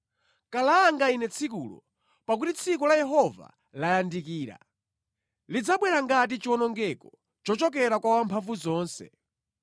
Kalanga ine tsikulo! Pakuti tsiku la Yehova layandikira; lidzabwera ngati chiwonongeko chochokera kwa Wamphamvuzonse.